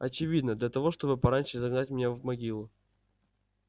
очевидно для того чтобы пораньше загнать меня в могилу